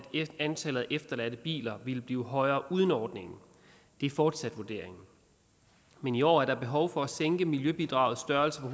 antallet af efterladte biler ville blive højere uden ordningen det er fortsat vurderingen men i år er der behov for at sænke miljøbidragets størrelse på